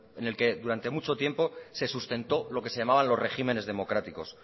en el que durante mucho tiempo se sustentó lo que se llamaban los regímenes democráticos